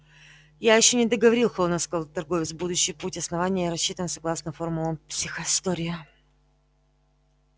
я ещё не договорил холодно сказал торговец будущий путь основания рассчитан согласно формулам психоистории